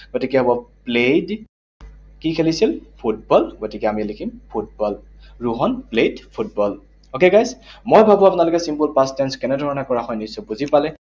গতিকে হব played, কি খেলিছিল? ফুটবল, গতিকে আমি লিখিম football. Rohan played football, okay, guys? মই ভাবো আপোনালোকে simple past tense কেনেধৰণে কৰা হয়, নিশ্চয় বুলি পালে।